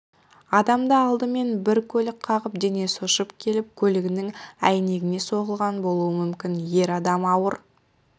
адамды алдымен бір көлік қағып денесі ұшып келіп көлігінің әйнегіне соғылған болуы мүмкін ер адам ауыр